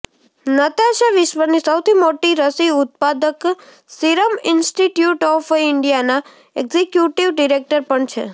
Natasha વિશ્વની સૌથી મોટી રસી ઉત્પાદક સીરમ ઇન્સ્ટિટ્યૂટ ઓફ ઇન્ડિયાના એક્ઝિક્યુટિવ ડિરેક્ટર પણ છે